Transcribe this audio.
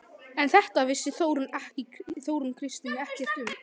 En þetta vissi Þórunn Kristín ekkert um.